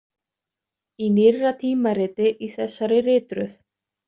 Í nýrra tímariti í þessari ritröð.